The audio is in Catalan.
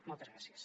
moltes gràcies